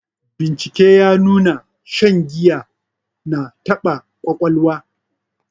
Bincike ta nuna shan giya ya na taba ƙwaƙwalwa.